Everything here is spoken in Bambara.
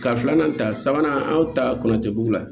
Ka filanan ta sabanan anw ta kɔlɔncɛ dugu la